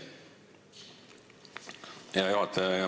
Hea juhataja!